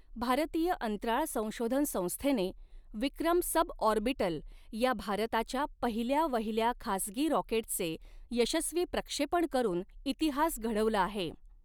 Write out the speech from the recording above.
भारतीय अंतराळ संशोधन संस्थेने विक्रम सबऑर्बिटल या भारताच्या पहिल्या वहिल्या खासगी रॉकेटचे यशस्वी प्रक्षेपण करून इतिहास घडवला आहे.